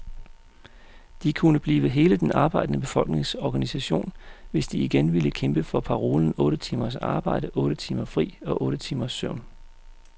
De kunne blive hele den arbejdende befolknings organisation, hvis de igen ville kæmpe for parolen otte timers arbejde, otte timer fri og otte timers søvn.